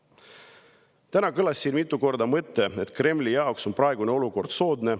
Täna kõlas siin mitu korda mõte, et Kremli jaoks on praegune olukord soodne.